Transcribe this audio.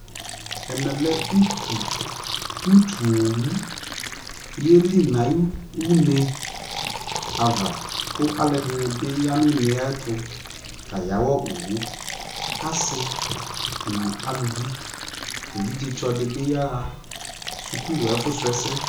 ɛmɛ lɛ ʋtʋ ɔwʋ yɛli nʋ ayi ʋnɛ aɣa kʋ alʋɛdini bi yanʋ ʋnɛ ayɛtʋ kayawa ɔwʋ ,asii nʋ alʋvi, ɛvidzɛ tsɔ dibi yaha skʋl ɛƒʋ srɔ ɛsɛ